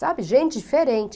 Sabe, gente diferente.